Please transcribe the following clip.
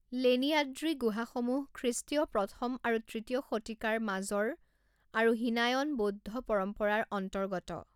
লেনিয়াদ্ৰী গুহাসমূহ খ্ৰীষ্ট্ৰীয় প্ৰথম আৰু তৃতীয় শতিকাৰ মাজৰ আৰু হীনায়ন বৌদ্ধ পৰম্পৰাৰ অন্তৰ্গত।